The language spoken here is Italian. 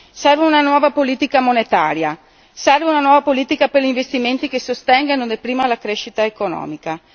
Serve una nuova politica monetaria, serve una nuova politica per gli investimenti che sostengano per prima la crescita economica.